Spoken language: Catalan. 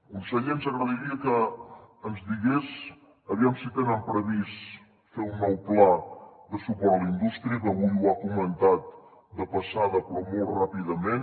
conseller ens agradaria que ens digués aviam si tenen previst fer un nou pla de suport a la indústria que avui ho ha comentat de passada però molt ràpidament